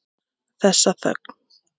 Þessa þögn.